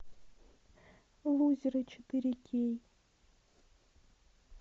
лузеры четыре кей